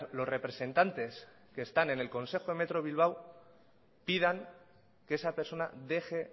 los representantes que están en el consejo de metro bilbao pidan que esa persona deje